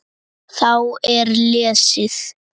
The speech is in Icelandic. Þá er lesið